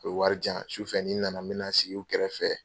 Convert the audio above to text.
O ye wari jan sufɛ ni n na na me na sigi u kɛrɛfɛ.